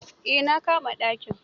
Eh na kama dakin.